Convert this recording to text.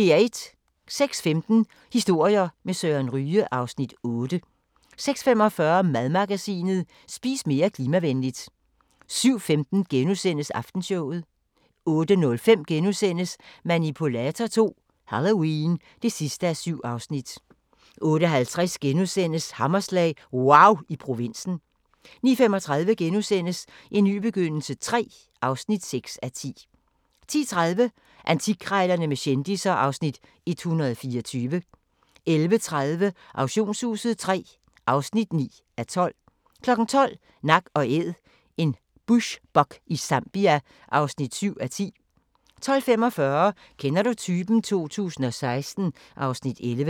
06:15: Historier med Søren Ryge (Afs. 8) 06:45: Madmagasinet: Spis mere klimavenligt 07:15: Aftenshowet * 08:05: Manipulator II - Halloween (7:7)* 08:50: Hammerslag – wauw i provinsen * 09:35: En ny begyndelse III (6:10)* 10:30: Antikkrejlerne med kendisser (Afs. 124) 11:30: Auktionshuset III (9:12) 12:00: Nak & Æd – en bushbuck i Zambia (7:10) 12:45: Kender du typen? 2016 (Afs. 11)